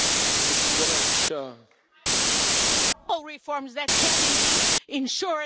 reforms that can indeed ensure the separation of powers and the rule of law.